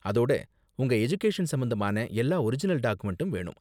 அதோட, உங்க எஜுகேஷன் சம்பந்தமான எல்லா ஒரிஜினல் டாக்குமெண்டும் வேணும்.